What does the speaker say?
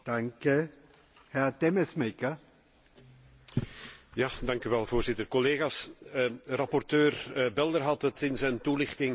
Voorzitter, collega's, rapporteur Belder had het in zijn toelichting onder andere over de droom van Chinese burgers en hij gaf verschillende voorbeelden.